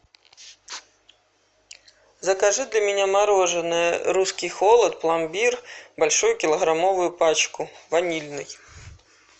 закажи для меня мороженое русский холод пломбир большую килограммовую пачку ванильный